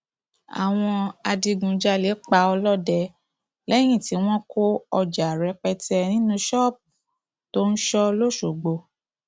àwọn adigunjalè pa ọlọdẹ lẹyìn tí wọn kó ọjà rẹpẹtẹ nínú ṣọọbù tó ń sọ lọṣọgbó